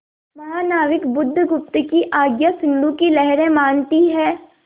महानाविक बुधगुप्त की आज्ञा सिंधु की लहरें मानती हैं